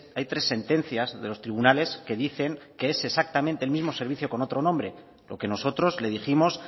hay tres sentencias de los tribunales que dicen que es exactamente el mismo servicio con otro nombre lo que nosotros le dijimos